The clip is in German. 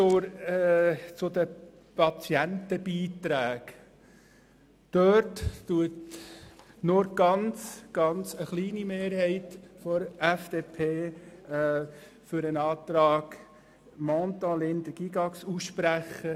Zu den Patientenbeiträgen: Diesbezüglich spricht sich nur eine sehr knappe Mehrheit der FDP für die Planungserklärung Mentha/Linder/Gygax-Böninger aus.